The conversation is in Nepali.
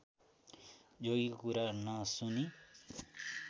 जोगीको कुरा नसुनी